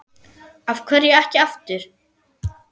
Af hverju ekki aftur?